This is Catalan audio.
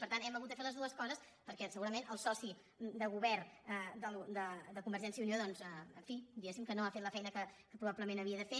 per tant hem hagut de fer les dues coses perquè segurament el soci de govern de conver·gència i unió doncs en fi diguéssim que no ha fet la feina que probablement havia de fer